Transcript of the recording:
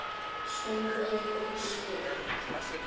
Sólveig og Sveinn.